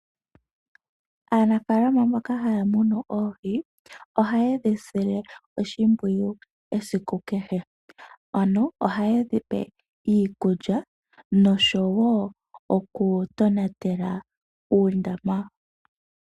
Aanafaalama mboka haya munu oohi ohayedhi sile oshimpwiyu esiku kehe, ano ohayedhi pe iikulya noshowo oku tonatela uundama.